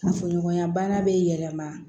Fuɲɔgɔnya bana bɛ yɛlɛma